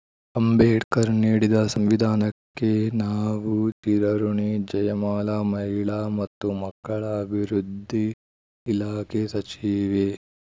ಅಂಬೇಡ್ಕರ್‌ ನೀಡಿದ ಸಂವಿಧಾನಕ್ಕೆ ನಾವು ಚಿರಋುಣಿ ಜಯಮಾಲಾ ಮಹಿಳಾ ಮತ್ತು ಮಕ್ಕಳ ಅಭಿವೃದ್ಧಿ ಇಲಾಖೆ ಸಚಿವೆ